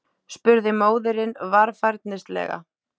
spurði móðirin varfærnislega.